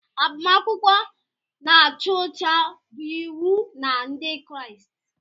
Agbamakwụkwọ na-acha ọcha bụ iwu na Ndị Kraịst.